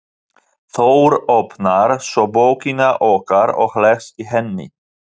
Þór, opnar svo bókina okkar og les í henni.